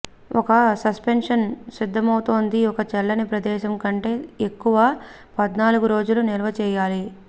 ఒక సస్పెన్షన్ సిద్ధమౌతోంది ఒక చల్లని ప్రదేశంలో కంటే ఎక్కువ పద్నాలుగు రోజుల నిల్వ చేయాలి